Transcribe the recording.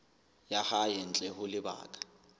ya hae ntle ho lebaka